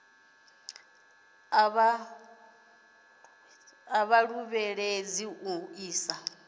a vha ṱuṱuwedza u isa